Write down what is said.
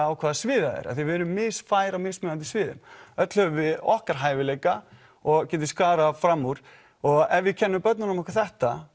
á hvaða sviði það er af því að við erum misfær á mismunandi sviðum öll höfum við okkar hæfileika og getum skarað fram úr og ef við kennum börnunum okkar þetta